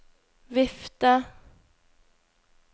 vifte